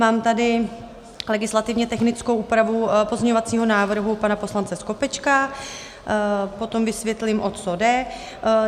Mám tady legislativně technickou úpravu pozměňovacího návrhu pana poslance Skopečka, potom vysvětlím, o co jde.